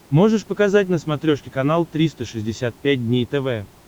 можешь показать на смотрешке канал триста шестьдесят пять дней тв